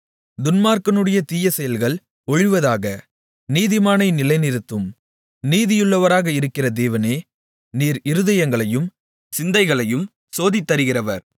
துன்மார்க்கனுடைய தீய செயல்கள் ஒழிவதாக நீதிமானை நிலைநிறுத்தும் நீதியுள்ளவராக இருக்கிற தேவனே நீர் இருதயங்களையும் சிந்தைகளையும் சோதித்தறிகிறவர்